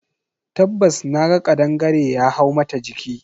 Tabbas naga kadangare ya hau mata jiki.